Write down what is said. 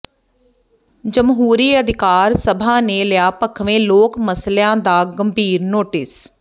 ਜਮਹੂਰੀ ਅਧਿਕਾਰ ਸਭਾ ਨੇ ਲਿਆ ਭਖਵੇਂ ਲੋਕ ਮਸਲਿਆਂ ਦਾ ਗੰਭੀਰ ਨੋਟਿਸ